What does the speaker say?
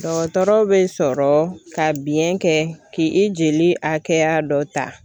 Dɔgɔtɔrɔ be sɔrɔ ka biyɛn kɛ k'ii jeli hakɛya dɔ ta